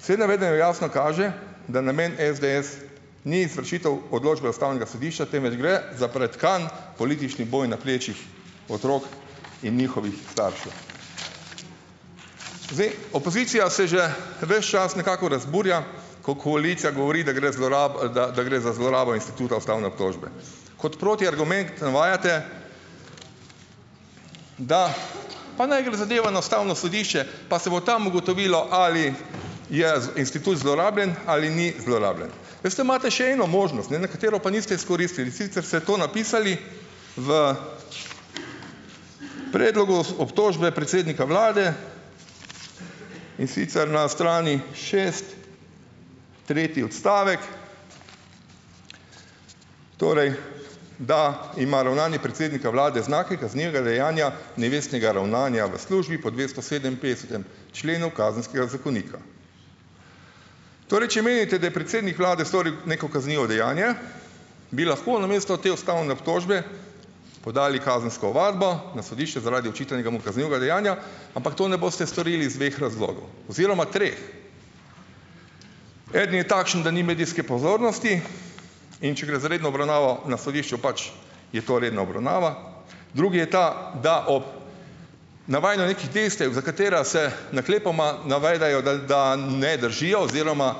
Vse navedeno jasno kaže, da namen SDS ni izvršitev odločbe ustavnega sodišča, temveč gre za pretkan politični boj na plečih otrok in njihovih staršev. Zdaj, opozicija se že ves čas nekako razburja, ko koalicija govori, da gre ali da da gre za zlorabo instituta ustavne obtožbe. kot protiargument navajate, da pa naj gre zadeva na ustavno sodišče, pa se bo tam ugotovilo, ali je institut zlorabljen ali ni zlorabljen. Veste, imate še eno možnost, ne, na katero pa niste izkoristili, sicer se to napisali v predlog obtožbe predsednika vlade in sicer na strani šest, tretji odstavek, torej da ima ravnanje predsednika vlade znake kaznivega dejanja, nevestnega ravnanja v službi po dvesto sedeminpetdesetem členu kazenskega zakonika. Torej, če menite, da je predsednik vlade storil neko kaznivo dejanje, bi lahko namesto te ustavne obtožbe, podali kazensko ovadbo na sodišče, zaradi očitanega mu kaznivega dejanja, ampak to ne boste storili iz dveh razlogov oziroma treh. Eden je takšen, da ni medijske pozornosti, in če gre za redno obravnavo na sodišču, pač je to redna obravnava. Drugi je ta, da ob navajanju nekih dejstev, za katera se naklepoma navedejo, da da ne držijo oziroma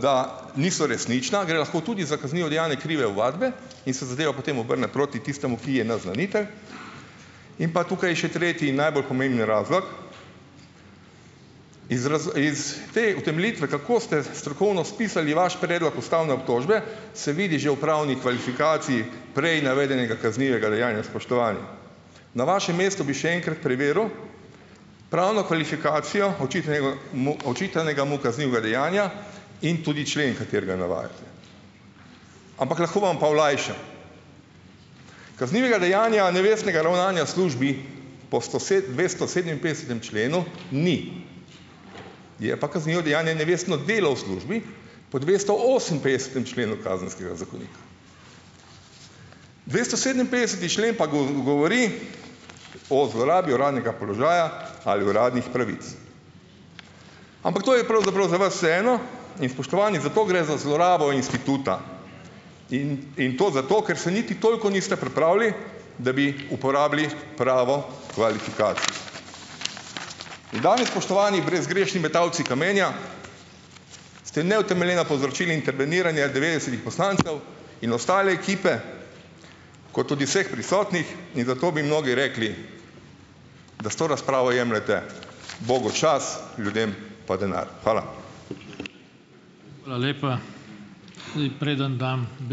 da niso resnična, gre lahko tudi za kaznivo dejanje krive ovadbe in se zadeva potem obrne proti tistemu, ki je naznanitelj, in pa tukaj je še tretji najbolj pomemben razlog. Iz iz te utemeljitve, kako ste strokovno spisali vaš predlog ustavne obtožbe, se vidi že v pravni kvalifikaciji prej navedenega kaznivega dejanja, spoštovani. Na vašem mestu bi še enkrat preveril pravno kvalifikacijo očitanega mu očitanega, mu kaznivega dejanja in tudi člen, katerega navajate. Ampak lahko vam pa olajšam. Kaznivega dejanja, nevestnega ravnanja službi po dvesto sedeminpetdesetem členu ni, je pa kaznivo dejanje nevestno delo v službi po dvesto oseminpetdesetem členu kazenskega zakonika. dvesto sedeminpetdeseti člen pa govori o zlorabi uradnega položaja ali uradnih pravic. Ampak to je pravzaprav za vas eno, in spoštovani, zato gre za zlorabo instituta in in to zato, ker se niti toliko niste pripravili, da bi uporabili pravo in danes, spoštovani, brezgrešni metalci kamenja, ste neutemeljeno povzročili interveniranje devetdesetih poslancev in ostale ekipe, kot tudi vseh prisotnih in zato bi mnogi rekli, da s to razpravo jemljete bogu čas, ljudem pa denar. Hvala.